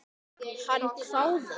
Hann hváði.